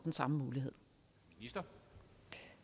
jeg